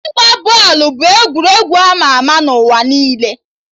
Ịgba bọọlụ bụ egwuregwu ama ama na ụwa niile